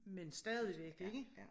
Men stadigvæk ikke